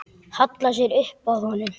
Hallar sér upp að honum.